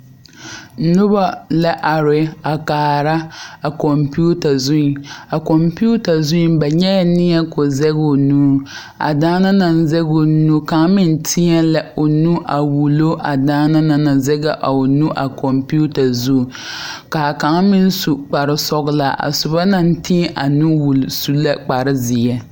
Noba la are a kaara computer a zuŋ a computer zuŋ ba nyɛ la neɛ ka o zage o nu a daana naŋ zage o nu kaŋa meŋ teɛ la o nu a wullo a daana naŋ zage a o nu a computer zuŋ ka kaŋa meŋ su kparesɔglaa a soba naŋ teɛ a nu wulli su la kparezeɛ.